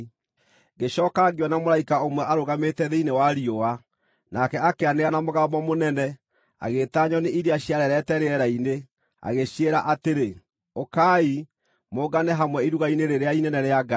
Ngĩcooka ngĩona mũraika ũmwe arũgamĩte thĩinĩ wa riũa, nake akĩanĩrĩra na mũgambo mũnene, agĩĩta nyoni iria ciarerete rĩera-inĩ, agĩciĩra atĩrĩ, “Ũkai, mũngane hamwe iruga-inĩ rĩrĩa inene rĩa Ngai,